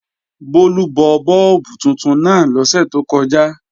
Bólú bọ bọ́ọ̀bù tuntun náà lọ́sẹ̀ tó kọjá